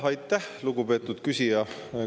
Aitäh, lugupeetud küsija!